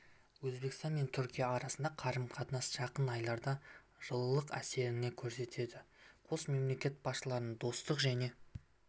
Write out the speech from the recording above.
өзбекстан мен түркия арасындағы қарым-қатынасқа жақын айларда жылылық әкелетінін көрсетеді қос мемлекет басшылары достық және